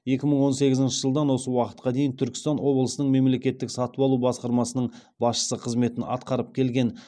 екі мың он сегізінші жылдан осы уақытқа дейін түркістан облысының мемлекеттік сатып алу басқармасының басшысы қызметін атқарып келген